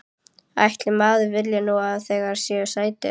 Ætli maður vilji nú ekki að þeir séu sætir.